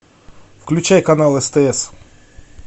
включай канал стс